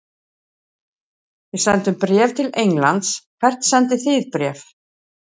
Við sendum bréf til Englands. Hvert sendið þið bréf?